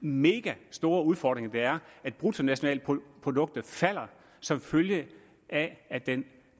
mega store udfordring det er at bruttonationalproduktet falder som følge af at den